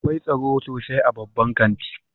Akwai tsaro sosai a babban kanti